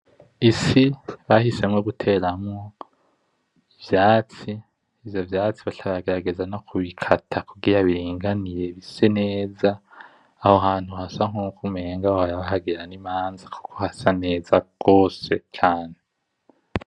Isi bahisemwo guteramwo ivyatsi , ivyo vyatsi baca baragerageza no kubikata kugira biringanire bise neza , aho hantu hasa nkuko umenga bahora bahagirira n'imanza kuko hasa neza gose cane .